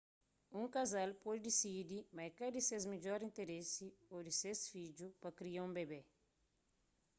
un kazal pode disidi ma é ka di ses midjor interesi ô di ses fidju pa kria un bebé